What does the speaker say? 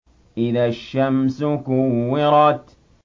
إِذَا الشَّمْسُ كُوِّرَتْ